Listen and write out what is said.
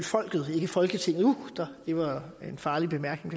folket ikke folketinget uh det var en farlig bemærkning